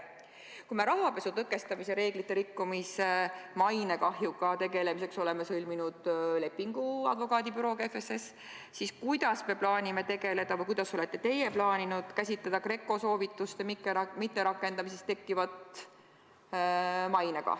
Kui me rahapesu tõkestamise reeglite rikkumisega seotud mainekahjuga tegelemiseks oleme sõlminud lepingu advokaadibürooga FSS, siis kuidas me plaanime tegeleda GRECO soovituste mitterakendamisest tekkiva mainekahjuga või kuidas olete teie plaaninud seda käsitleda?